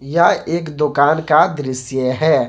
यह एक दुकान का दृश्य है।